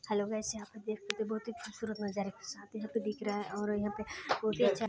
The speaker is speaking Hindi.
हेलो गाइस यहाँ पर देख सकते है बहुत ही खूबसूरत नज़ारा के साथ ही यहाँ पे दिख रहा है और यहाँ पे बहुत ही अच्छा--